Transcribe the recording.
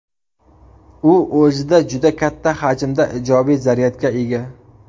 U o‘zida juda katta hajmda ijobiy zaryadga ega.